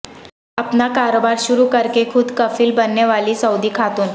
اپنا کاروبار شروع کرکے خود کفیل بننے والی سعودی خاتون